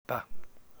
B